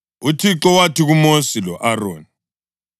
UThixo wathi kuMosi lo-Aroni,